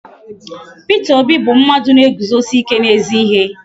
Peter Obi bu mmadu na-eguzosi ike n'ezi ihe